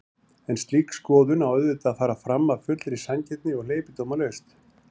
En slík skoðun á auðvitað að fara fram af fullri sanngirni og hleypidómalaust.